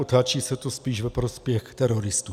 Otáčí se to spíš ve prospěch teroristů.